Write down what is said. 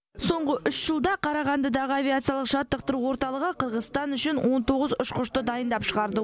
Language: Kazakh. соңғы үш жылда қарағандыдағы авиациялық жаттықтыру орталығы қырғызстан үшін он тоғыз ұшқышты дайындап шығарды